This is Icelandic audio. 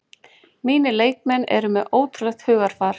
Mínir leikmenn eru með ótrúlegt hugarfar